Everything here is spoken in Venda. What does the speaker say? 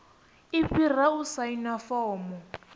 i fhira u saina fomo